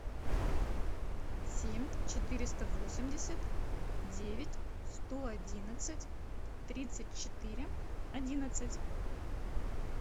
семь четыреста восемьдесят девять сто одинадцать тридцать четыре одиннадцать